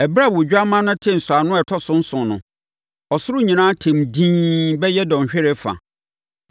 Ɛberɛ a Odwammaa no tee nsɔano a ɛtɔ so nson no, ɔsoro nyinaa tɛm dinn bɛyɛ dɔnhwereɛ fa.